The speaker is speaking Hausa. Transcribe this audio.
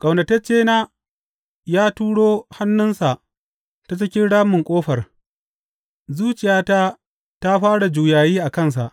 Ƙaunataccena ya turo hannunsa ta cikin ramin ƙofar; zuciyata ta fara juyayi a kansa.